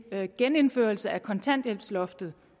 at en genindførelse af kontanthjælpsloftet